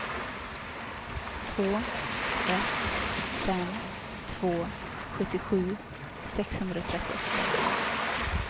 två ett fem två sjuttiosju sexhundratrettioåtta